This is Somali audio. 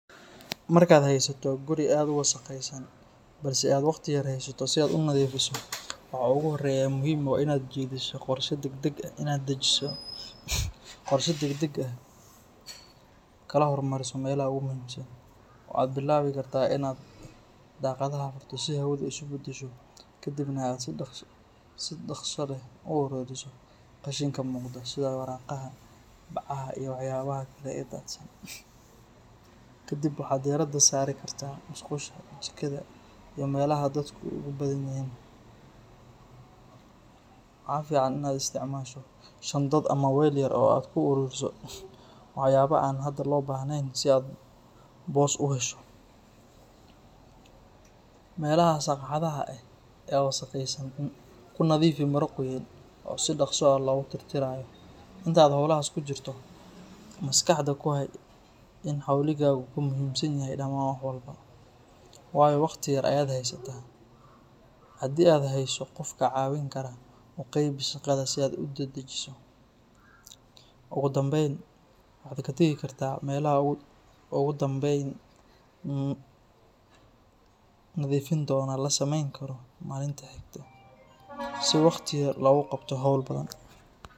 Markaad haysato guri aad u wasakhaysan balse aad waqti yar haysato si aad u nadiifiso, waxa ugu horreeya ee muhiim ah waa inaad dejiso qorshe degdeg ah oo aad kala hormariso meelaha ugu muhiimsan. Waxaad bilaabi kartaa inaad daaqadaha furto si hawadu isu beddesho, kadibna aad si dhaqso leh u ururiso qashinka muuqda sida waraaqaha, bacaha, iyo waxyaabaha kale ee daadsan. Kadib waxaad diiradda saari kartaa musqusha, jikada iyo meelaha dadku ugu badan yihiin. Waxaa fiican inaad isticmaasho shandad ama weel yar oo aad ku ururiso waxyaabaha aan hadda loo baahneyn si aad boos u hesho. Meelaha sagxadda ah ee aad u wasakhaysan ku nadiifi maro qoyan oo si dhaqso ah loogu tirtirayo. Inta aad howlahaas ku jirto, maskaxda ku hay in xawligaagu ka muhiimsan yahay dhammaan wax walba, waayo waqti yar ayaad haysataa. Haddii aad hayso qof kaa caawin kara, u qaybi shaqada si aad u dedejiso. Ugu dambeyn, waxaad ka tagi kartaa meelaha ugu dambeyn nadiifintooda la samayn karo maalinta xigta, si waqti yar lagu qabto hawl badan.